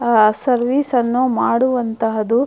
ಆಹ್ಹ್ service ಅನ್ನು ಮಾಡುವಂತಹದು --